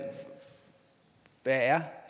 er